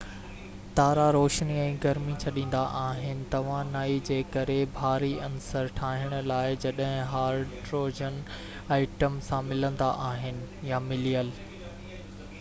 تارا روشني ۽ گرمي ڇڏيندا آهن توانائي جي ڪري ڀاري عنصر ٺاهڻ لاءِ جڏهن هائڊروجن ائٽمن سان ملندا آهن يا مليل